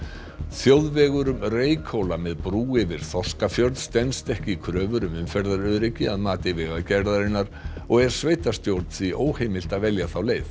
þjóðvegur um Reykhóla með brú yfir Þorskafjörð stenst ekki kröfur um umferðaröryggi að mati Vegagerðarinnar og er sveitarstjórn því óheimilt að velja þá leið